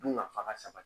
Dun ka fa ka sabati